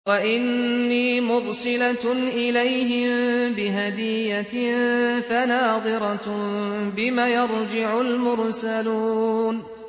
وَإِنِّي مُرْسِلَةٌ إِلَيْهِم بِهَدِيَّةٍ فَنَاظِرَةٌ بِمَ يَرْجِعُ الْمُرْسَلُونَ